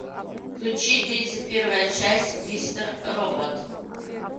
включи тридцать первая часть мистер робот